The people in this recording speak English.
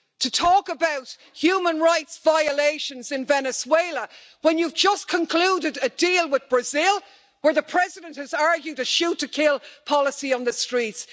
You are talking about human rights violations in Venezuela when you have just concluded a deal with Brazil, where the President has argued for a shoot to kill policy on the streets.